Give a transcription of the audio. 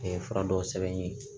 fura dɔw sɛbɛn n ye